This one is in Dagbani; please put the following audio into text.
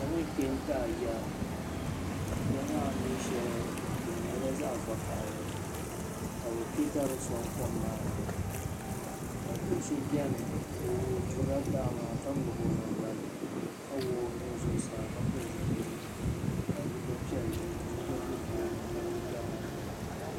kom n kpɛ taɣi ya ya maa mi shɛli di nyɛla zaɣa vakahili ka bi pe dari n song kom maa ni ka do so beni o durila daɣa maa ka ŋmabi o nan gbami ka wuɣi o nuu zuɣu saa ka pili zipil piɛli ka so gba be o nyaan ga n gna doli dari maa n kanna.